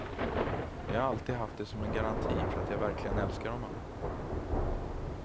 Jag har alltid haft det som en garanti för att jag verkligen älskar honom.